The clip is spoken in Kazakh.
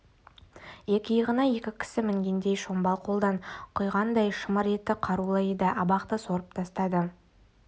екі иығына екі кісі мінгендей шомбал қолдан құйғандай шымыр өте қарулы еді абақты сорып тастады